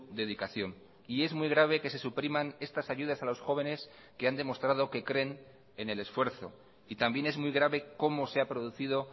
dedicación y es muy grave que se supriman estas ayudas a los jóvenes que han demostrado que creen en el esfuerzo y también es muy grave como se ha producido